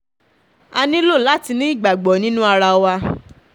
a nílò láti ní ìgbàgbọ́ nínú arawà